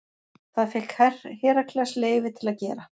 Það fékk Herakles leyfi til að gera.